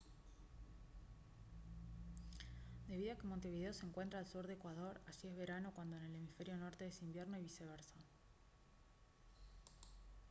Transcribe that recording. debido a que montevideo se encuentra al sur de ecuador allí es verano cuando en el hemisferio norte es invierno y viceversa